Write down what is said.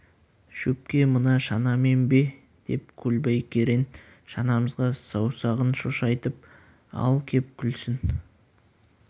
шөпке мына шанамен бе деп көлбай керең шанамызға саусағын шошайтып ал кеп күлсін